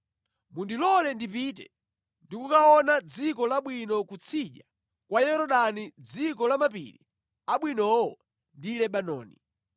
Mundilole ndipite ndi kukaona dziko labwinolo kutsidya kwa Yorodani dziko la mapiri abwinowo ndi Lebanoni.”